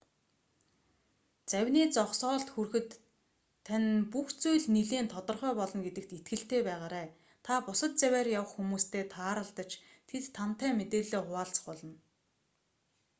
завины зогсоолд хүрэхэд тань бүх зүйл нэлээн тодорхой болно гэдэгт итгэлтэй байгаарай та бусад завиар явах хүмүүстэй тааралдаж тэд тантай мэдээллээ хуваалцах болно